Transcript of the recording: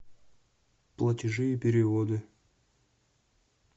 платежи и переводы